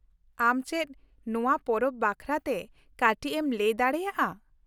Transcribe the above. ᱟᱢ ᱪᱮᱫ ᱱᱚᱶᱟ ᱯᱚᱨᱚᱵᱽ ᱵᱟᱠᱷᱨᱟᱛᱮ ᱠᱟᱹᱴᱤᱡ ᱮᱢ ᱞᱟᱹᱭ ᱫᱟᱲᱮᱭᱟᱜᱼᱟ ?